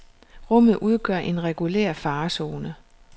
Rummet udgør en regulær farezone.